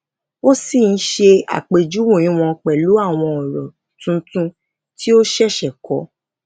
ó sì ń ṣe àpèjúwe wọn pẹlú àwọn ọrọ tuntun tí ó ṣẹṣẹ kọ